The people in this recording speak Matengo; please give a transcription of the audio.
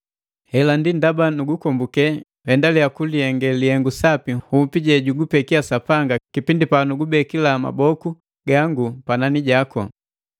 Ndi ndaba nugukombuke nhendaliya kukihenge lihengu sapi nhupi jejugupeki Sapanga kipindi panugubekila maboku gangu panani jaku.